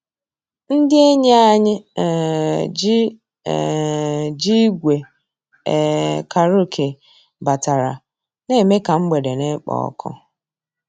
Ndị́ ényí ànyị́ um jì um jì ígwè um kàràókè batàrà, ná-èmè ká mgbedé ná-èkpò ọ́kụ́.